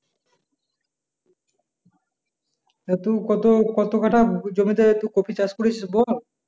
এত কত কত কাঠা জমিতে তুই কপি চাষ করেছিস বল?